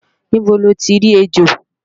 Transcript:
Níbo loti rí ejò?